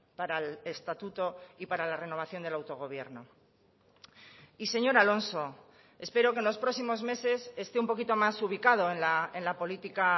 para el estatuto y para la renovación del autogobierno y señor alonso espero que en los próximos meses esté un poquito más ubicado en la política